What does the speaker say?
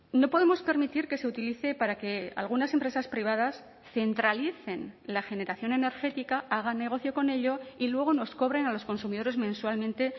no podemos permitir que se utilice para que algunas empresas privadas centralicen la generación energética hagan negocio con ello y luego nos cobren a los consumidores mensualmente